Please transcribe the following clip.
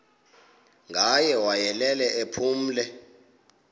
ngaye wayelele ephumle